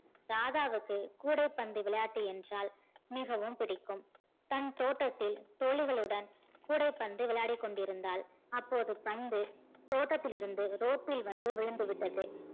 ராதாவுக்கு கூடைபந்து விளையாட்டு என்றால் மிகவும் பிடிக்கும் தன் தோட்டத்தில் தோழிகளுடன் கூடைபந்து விளையாடிகொண்டிருந்தால் அப்போது பந்து தோட்டத்தில் இருந்து road டில் வந்து விழுந்தது.